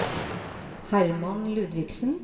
Hermann Ludvigsen